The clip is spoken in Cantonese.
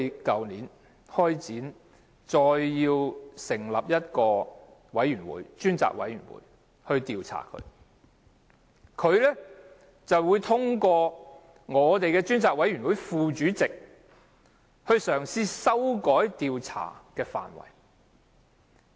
去年，我們要求成立專責委員會就 UGL 事件進行調查，但梁振英通過專責委員會副主席嘗試修改調查範圍。